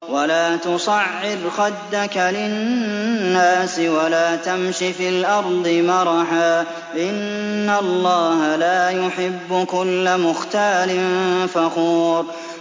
وَلَا تُصَعِّرْ خَدَّكَ لِلنَّاسِ وَلَا تَمْشِ فِي الْأَرْضِ مَرَحًا ۖ إِنَّ اللَّهَ لَا يُحِبُّ كُلَّ مُخْتَالٍ فَخُورٍ